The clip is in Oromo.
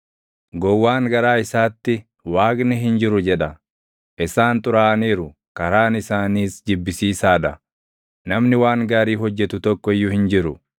Gowwaan garaa isaatti, “Waaqni hin jiru” jedha. Isaan xuraaʼaniiru; karaan isaaniis jibbisiisaa dha; namni waan gaarii hojjetu tokko iyyuu hin jiru.